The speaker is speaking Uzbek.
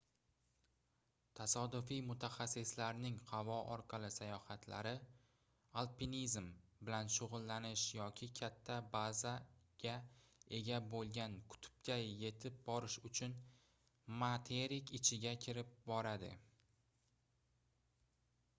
tasodifiy mutaxassislarning havo orqali sayohatlari alpinizm bilan shugʻullanish yoki katta bazaga ega boʻlgan qutbga yetib borish uchun materik ichiga kirib boradi